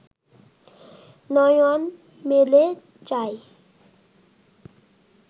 নয়ন মেলে চায়